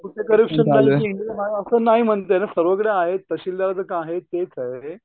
करूच शकत नाही केलं नाही असं नाही म्हणताय ना सगळीकडे आहेत तहसीलदार आहेत तेच आहे.